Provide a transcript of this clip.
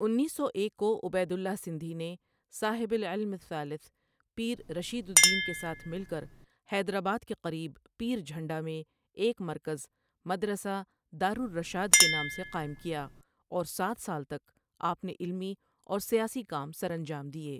انیس سو ایک کو عبید اللہ سندھی نےصاحب العلم الثالث پیررشیدالدینؒ کےساتھ مل کرحیدرآباد کے قریب پیرجھنڈا میں ایک مرکز مدرسہ دارالرشاد کےنام سےقائم کیااور سات سال تک آپؒ نے علمی اور سیاسی کام سرانجام دیئے،۔